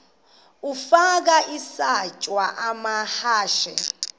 ukafa isitya amahashe